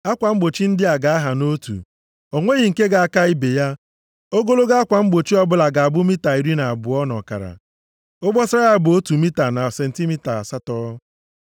Akwa mgbochi ndị a ga-aha nʼotu. O nweghị nke ga-aka ibe ya. Ogologo akwa mgbochi ọbụla ga-abụ mita iri na abụọ na ọkara. Obosara ya bụ otu mita na sentimita asatọ.